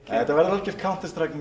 þetta verður algjört Counter Strike